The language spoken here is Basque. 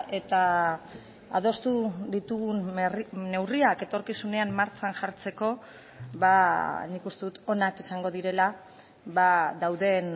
eta adostu ditugun neurriak etorkizunean martxan jartzeko nik uste dut onak izango direla dauden